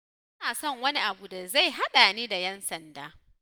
Ba na son wani abu da zai haɗa ni da 'yan sanda